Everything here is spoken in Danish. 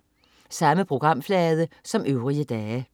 Samme programflade som øvrige dage